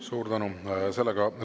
Suur tänu!